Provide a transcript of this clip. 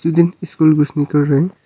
दो तीन school bus निकल रही--